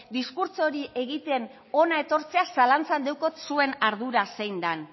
diskurtso hori egiten hona etortzea zalantzan daukat zuen ardura zein den